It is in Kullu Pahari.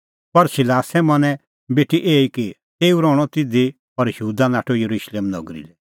पर सिलासे मनैं बेठी एही कि तेऊ रहणअ तिधी और यहूदा नाठअ येरुशलेम नगरी लै